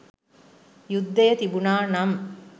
යුද්ධය තිබුණා නම්